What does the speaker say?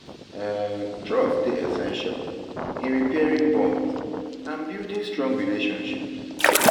um Trust dey essential in repairing bonds and building strong relationships.